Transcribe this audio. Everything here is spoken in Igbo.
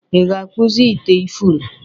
ị ga-akpụzi ite ifuru?